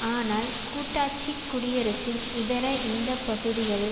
ஆனால் கூட்டாட்சி குடியரசின் இதர இந்த பகுதிகளில்